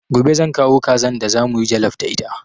Gobe zan kawo kazan da za mu yi jallaf da ita.